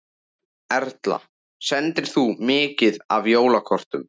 Erla: Sendir þú mikið af jólakortum?